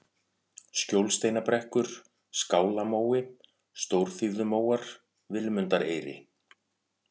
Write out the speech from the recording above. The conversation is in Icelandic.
Skjólsteinabrekkur, Skálamói, Stórþýfðumóar, Vilmundareyri